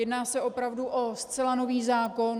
Jedná se opravdu o zcela nový zákon.